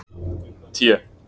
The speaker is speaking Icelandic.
T